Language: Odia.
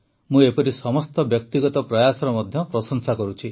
ମୁଁ ଏପରି ସମସ୍ତ ବ୍ୟକ୍ତିଗତ ପ୍ରୟାସର ମଧ୍ୟ ପ୍ରଶଂସା କରୁଛି